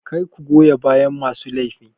Kar ku goya bayan masu laifi.